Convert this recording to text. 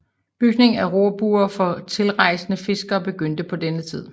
Bygning af rorbuer for tilrejsende fiskere begyndte på den tid